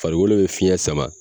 Farikolo bɛ fiɲɛ sama.